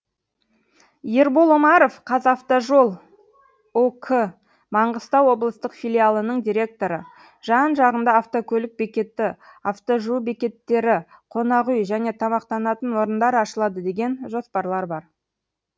ербол омаров қазавтожол ұк маңғыстау облыстық филиалының директоры жан жағында автокөлік бекеті автожуу бекеттері қонақ үй және тамақтанатын орындар ашылады деген жоспарлар бар